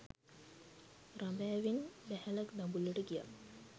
රඹෑවෙන් බැහැලා දඹුල්ලට ගියා